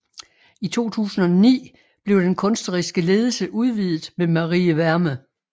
I 2009 blev den kunstneriske ledelse udvidet med Marie Wärme